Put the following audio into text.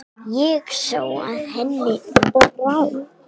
Ég sá að henni brá.